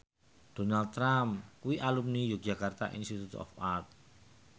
Donald Trump kuwi alumni Yogyakarta Institute of Art